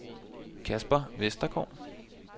Kasper Vestergaard